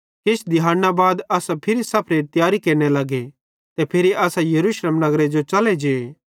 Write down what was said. किछ दिहाड़ना बाद असां सफरेरी तियारी केरने लगे ते फिरी असां यरूशलेम नगरे जो च़ले जे